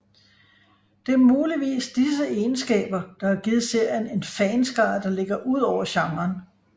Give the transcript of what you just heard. Det er muligvis disse egenskaber der har givet serien en fanskare der ligger udover genren